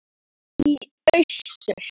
Hann var í austur.